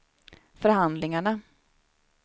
förhandlingarna